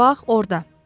Bax orda.